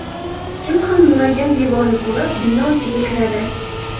Kim ham nuragan devorni ko‘rib, bino ichiga kiradi?